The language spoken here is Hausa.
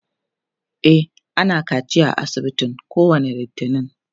e ana kaciya a asibitin kowani littani